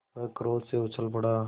वह क्रोध से उछल पड़ा